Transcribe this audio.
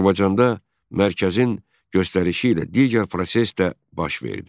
Azərbaycanda Mərkəzin göstərişi ilə digər proses də baş verdi.